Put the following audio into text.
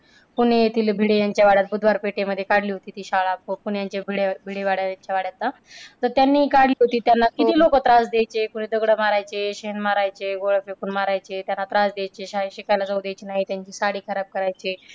पुणे येथिल भिडे यांच्या वाड्यात बुधवार पेठेमध्ये काढली होती ती शाळा पुण्याच्या भिडे भिडे वाड्याच्या वाड्यात. तर त्यांनी काढली होती त्यांना किती लोक त्रास द्यायचे. कोणी दगडं मारायचे, शेण मारायचे, गोळा फेकून मारायचे, त्यांना त्रास द्यायचे. शाळेत शिकायला जाऊ देत नाही, त्यांची साडी खराब करायचे.